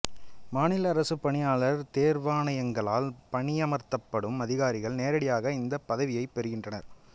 மாநில அரசுப் பணியாளர் தேர்வாணையங்களால் பணியமர்த்தப்படும் அதிகாரிகள் நேரடியாக இந்தப் பதவியைப் பெறுகின்றனர்